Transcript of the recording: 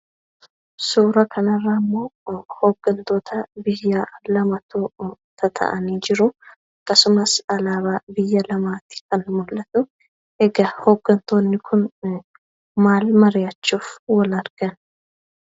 Suuraa kanarraammoo hooggantoota biyyaa lamatu tataa'anii jiru. Akkasumas alaabaa biyya lamaati kan mul'atu. Egaa hooggantoonni kun maal mari'achuuf wal argan?